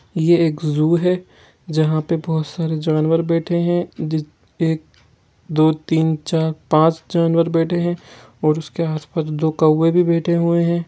ये एक जू हे जहा पे बहुत सारे जानवर बैठे हे जी एक दो तीन चार पाँच जानवर बैठे हे और उसके आसपास दो कौवे भी बैठे हे।